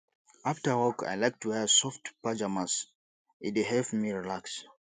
after work i like to wear soft pajamas e dey help me relax